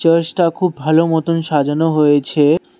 Church টা খুব ভালো মতন সাজানো হয়েছে।